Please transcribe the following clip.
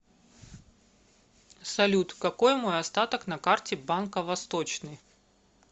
салют какой мой остаток на карте банка восточный